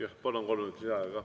Jah, palun, kolm minutit lisaaega!